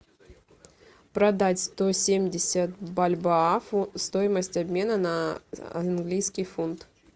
продать сто семьдесят бальбоа стоимость обмена на английский фунт